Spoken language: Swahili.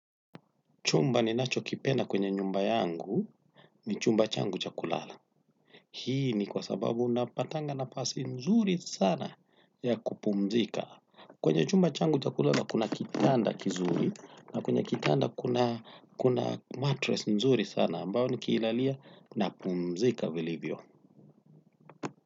Chumba ninachokipenda kwenye nyumba yangu ni chumba changu cha kulala. Hii ni kwa sababu unapatanga nafasi nzuri sana ya kupumzika. Kwenye chumba changu cha kulala kuna kitanda kizuri na kwenye kitanda kuna matress nzuri sana ambayo nikilalia napumzika vilivyo.